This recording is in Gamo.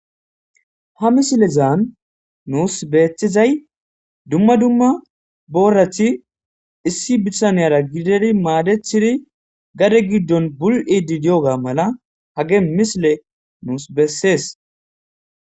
Ha misilezan nus betizay dumma dumma borat issi bitaniyara gidid madetid gade gidon bul'id diyiga mala ha misiley beses.